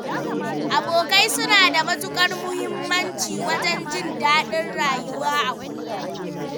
Abokai suna da matuƙar muhimmanci wajen jin daɗin rayuwa a kullum.